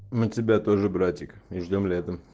мы тебя тоже братик и ждём летом